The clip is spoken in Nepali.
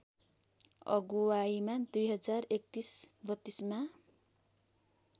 अगुवाइमा २०३१३२मा